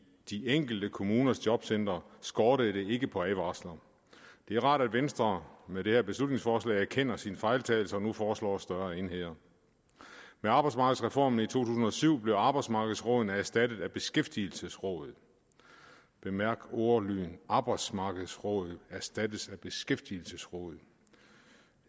de enkelte kommuners jobcentre skortede det ikke på advarsler det er rart at venstre med det her beslutningsforslag erkender sin fejltagelse og nu foreslår større enheder med arbejdsmarkedsreformen i to tusind og syv blev arbejdsmarkedsrådene erstattet af beskæftigelsesrådet bemærk ordlyden arbejdsmarkedsrådet erstattes af beskæftigelsesrådet